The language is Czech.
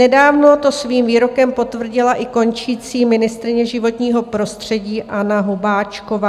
Nedávno to svým výrokem potvrdila i končící ministryně životního prostředí Anna Hubáčková.